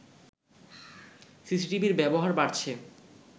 সিসিটিভির ব্যবহার বাড়ছে